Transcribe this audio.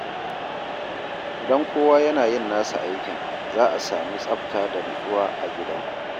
Idan kowa yana yin nasa aikin, za a sami tsafta da nutsuwa a gida.